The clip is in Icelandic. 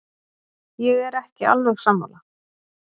Ég er ekki alveg sammála.